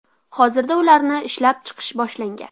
Hozirda ularni ishlab chiqish boshlangan.